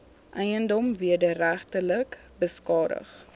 eiendom wederregtelik beskadig